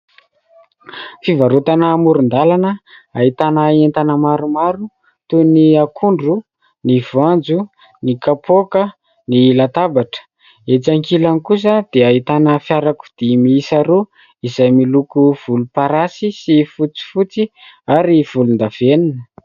Fivarotana amoron-dalana, ahitana entana maromaro toy : ny akondro, ny voanjo, ny kapoaka, ny latabatra ; etsy ankilany kosa dia ahitana fiarakodia miisa roa izay miloko volomparasy sy fotsifotsy ary volondavenona.